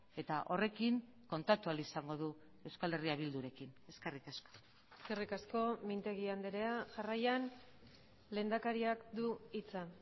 eta horrekin kontatu ahal izango du euskal herria bildurekin eskerrik asko eskerrik asko mintegi andrea jarraian lehendakariak du hitza